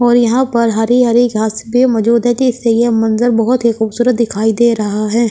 और यहां पर हरी हरी घास भी मौजूद है जैसे ये मंजर बहोत ही खूबसूरत दिखाई दे रहा है।